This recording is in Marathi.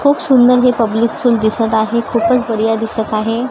खूप सुंदर हे पब्लिक स्कूल दिसत आहे खूपच बढीया दिसत आहे.